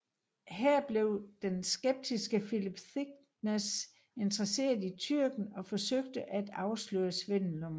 Her blev den skeptiske Philip Thicknesse interesseret i tyrken og forsøgte at afsløre svindelnummeret